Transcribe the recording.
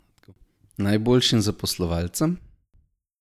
Najboljšim zaposlovalcem?